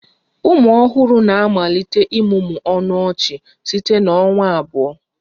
Ụmụ ọhụrụ na-amalite ịmụmụ ọnụ ọchị site na ọnwa abụọ